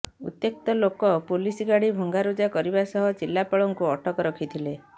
ଉତ୍ୟକ୍ତ ଲୋକେ ପୋଲିସ ଗାଡି ଭଂଗାରୁଜା କରିବା ସହ ଜିଲ୍ଲାପାଳଙ୍କୁ ଅଟକ ରଖିଥିଲେ